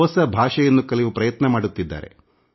ಹೊಸ ಭಾಷೆಯನ್ನು ಕಲಿಯುವ ಪ್ರಯತ್ನ ಮಾಡುತ್ತಿದ್ದಾರೆ